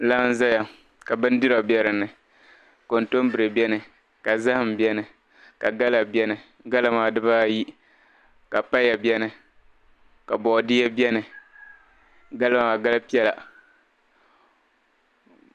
laa n-zaya ka bindira be di ni kɔntombire beni ka zahim beni ka gala beni gala maa dibaayi ka paya beni ka boodia beni gala maa gal' piɛla